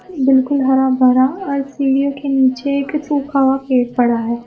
बिल्कुल हरा भरा और सीढ़ियों के नीचे एक सुखा हुआ पेड़ पड़ा हेै।